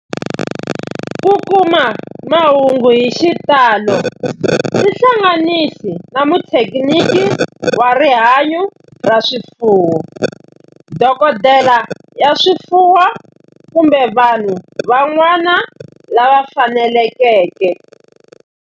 Ku kuma mahungu hi xitalo tihlanganisi na muthekiniki wa rihanyo ra swifuwo, dokodela ya swifuwo, kumbe vanhu van'wana lava fanelekeke